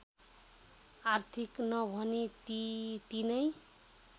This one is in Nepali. आर्थिक नभनी ती तीनै